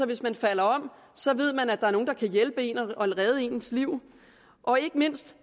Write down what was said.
hvis man falder om så ved man at der er nogen der kan hjælpe en og redde ens liv og ikke mindst